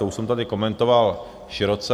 To už jsem tady komentoval široce.